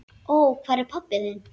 Og hvar er pabbi þinn?